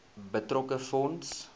betrokke fonds